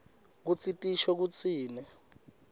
kutsi tisho kutsini